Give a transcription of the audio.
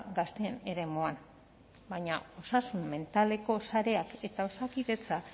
gazteen eremuan baina osasun mentaleko sareak eta osakidetza